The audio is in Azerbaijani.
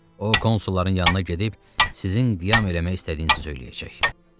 O konsulların yanına gedib sizin qiyam eləmək istədiyinizi söyləyəcək.